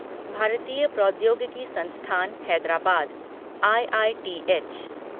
भारतीय प्रौद्योगिकी संस्थान हैदराबाद आईआईटीएच